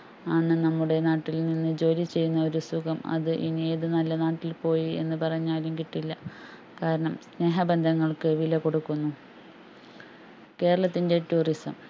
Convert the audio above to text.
അന്ന് നമ്മുടെ നാട്ടിൽ നിന്ന് ജോലി ചെയ്യുന്ന ഒരു സുഖം അത് ഇനി ഏതു നല്ല നാട്ടിൽ പോയി എന്ന് പറഞ്ഞാലും കിട്ടില്ല കാരണം സ്നേഹബന്ധങ്ങൾക്കു വില കൊടുക്കുന്നു കേരളത്തിന്റെ tourism